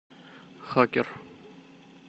хакер